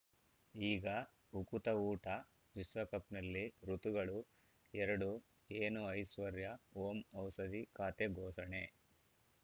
ಈಗ ಉಕುತ ಊಟ ವಿಶ್ವಕಪ್‌ನಲ್ಲಿ ಋತುಗಳು ಎರಡು ಏನು ಐಶ್ವರ್ಯಾ ಓಂ ಔಷಧಿ ಖಾತೆ ಘೋಷಣೆ